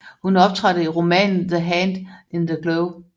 Hun optrådte i romanen The Hand in the Glove